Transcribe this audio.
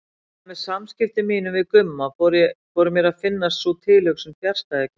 En með samskiptum mínum við Gumma fór mér að finnast sú tilhugsun fjarstæðukennd.